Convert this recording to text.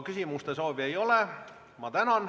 Küsimuste soovi ei ole.